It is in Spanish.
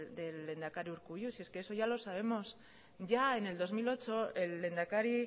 del lehendakari urkullu si es que eso ya lo sabemos ya en el dos mil ocho el lehendakari